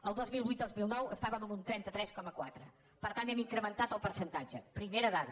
el dos mil vuitdos mil nou estàvem amb un trenta tres coma quatre per tant hem incrementat el percentatge primera dada